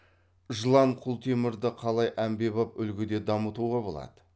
жылан құлтемірді қалай әмбебап үлгіде дамытуға болады